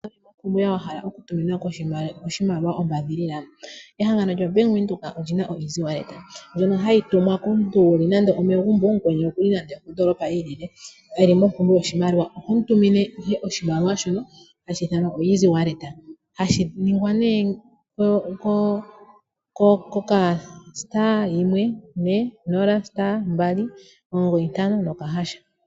Owuna kuume koye wa hala okutumina oshimaliwa ombaadhilila? Ehangano lyo Bank Windhoek olyi na EasyWallet ndjono hayi tumwa komuntu wuli nange omegumbo ye mukweni okuli nande okondoolopa yi ilile, eli mompumbwe yoshimaliwa. Oho mu tumine ihe oshimaliwa shono hashi ithanwa oEasyWallet. Hashi ningwa nee ko *140*295#.